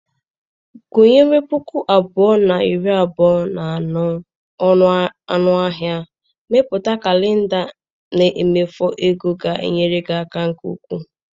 Gụnyere puku abụọ na iri abụọ na anọ ọnụ ahịa mbipụta kalenda na mmefu ego ga-enyere aka nke ukwuu.